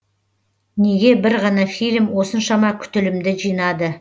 неге бір ғана фильм осыншама күтілімді жинады